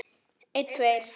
Og þeirra sem sorgin þjakar.